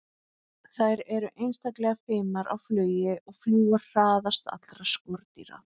Þær eru einstaklega fimar á flugi og fljúga hraðast allra skordýra.